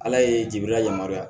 Ala ye jibila yamaruya